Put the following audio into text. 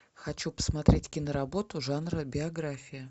хочу посмотреть киноработу жанра биография